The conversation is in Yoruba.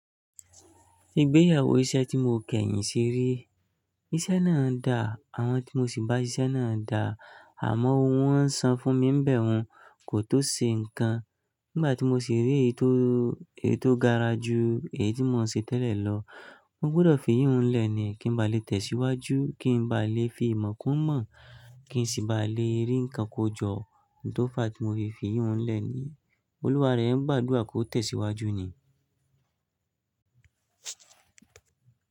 Ìgbéyàwó iṣẹ́ tí mo kẹ́yìn sì rí, iṣẹ́ náà dà, àwọn tí mo sì bá sí iṣẹ́ náà dà, àmọ́ ohun wọ́n ń sọ fún mi ń bẹ̀ wọ́n kò tó ṣe nǹkan. Nígbà tí mo sì rí èyí tó, èyí tó gara ju èyí tí mò ń ṣe tẹ́lẹ̀ lọ, mo gbọdọ̀ fi yíhùn lẹ̀ ni kí n ba lè tẹ̀síwájú, kí n ba lè fi ìmọ̀ kún mọ̀, kí n sì ba lè rí ǹkan kó jọ, n tòó fáà tí mo fi fi yìhun lẹ̀ ni. Olúwa rẹ̀ ń gbàdúrà kó tẹ̀síwájú ni.